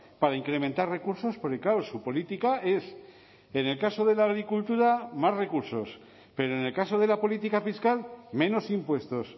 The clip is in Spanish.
para incrementar recursos porque claro su política es en el caso de la agricultura más recursos pero en el caso de la política fiscal menos impuestos